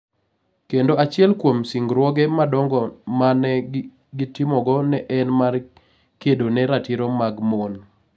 Kendo achiel kuom singruoge madongo ma ne gitimogo ne en mar kedo ne ratiro mag mon.